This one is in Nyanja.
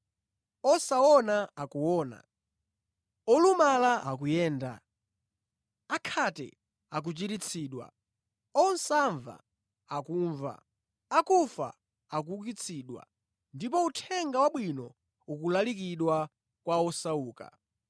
Osaona akuona, olumala akuyenda, akhate akuchiritsidwa, osamva akumva, akufa akuukitsidwa ndipo Uthenga Wabwino ukulalikidwa kwa osauka.